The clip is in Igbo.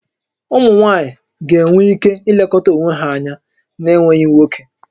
Ụmụ nwaanyị ga-enwe ike ilekọta onwe ha anya n'enweghị nwoke